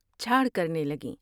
چھاڑ کرنے لگیں ۔